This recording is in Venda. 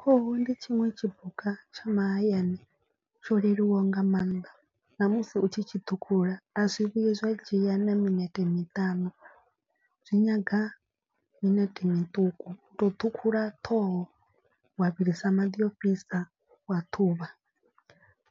Khuhu ndi tshiṅwe tshipuka tsha mahayani tsho leluwaho nga maanḓa na musi u tshi tshi ṱhukhula. A zwi vhuyi zwa dzhia na minete miṱanu, zwi nyaga minete miṱuku. U to u ṱhukhula ṱhoho wa vhilisa maḓi ofhisa wa ṱhuvha